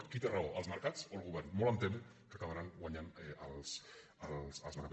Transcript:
qui té raó els mercats o el govern molt em temo que acabaran guanyant els mercats